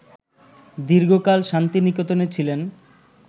দীর্ঘকাল শান্তিনিকেতনে ছিলেন